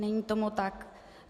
Není tomu tak.